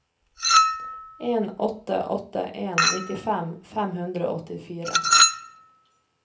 en åtte åtte en nittifem fem hundre og åttifire